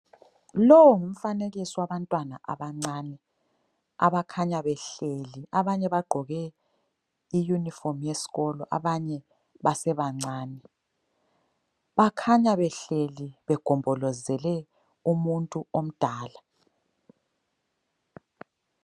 Lo ngumfanekiso wabantwana abancane abakhanya behleli, abanye bagqoke iyunifomu yesikolo, abanye basebancane. Bakhanya behleli begombolozele umuntu omdala.